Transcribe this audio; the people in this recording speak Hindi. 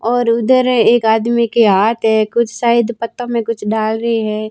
और उधर एक आदमी के हाथ है। कुछ शायद पत्ता में कुछ डाल रहे हैं।